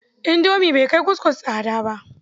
Indomi bai kai kuskus tsada ba.